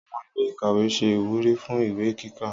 Àwon ilé ìkàwé se ìwúrí fún ìwé kíkà